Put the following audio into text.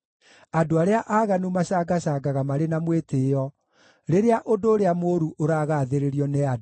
Andũ arĩa aaganu macangacangaga marĩ na mwĩtĩĩo, rĩrĩa ũndũ ũrĩa mũũru ũragathĩrĩrio nĩ andũ.